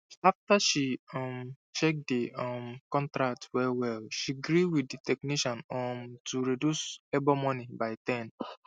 after she um check the um contract well well she gree with the technician um to reduce labour money by 10